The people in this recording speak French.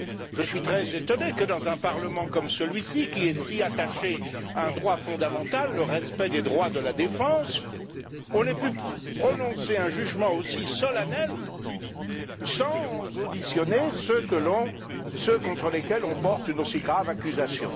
Je suis très étonné que, dans un Parlement comme celui ci, qui est si attaché à un droit fondamental le respect des droits de la défense on ait pu prononcer un jugement aussi solennel sans auditionner ceux contre lesquels on porte une aussi grave accusation.